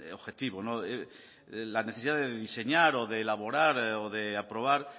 objetivo la necesidad de diseñar o de elaborar o de aprobar